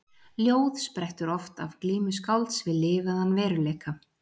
Ljóð sprettur oft af glímu skálds við lifaðan veruleika.